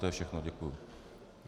To je všechno, děkuji.